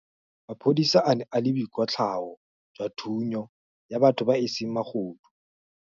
Maphodisa a ne a na le boikwatlhaô jwa thunyô ya batho ba e seng magodu.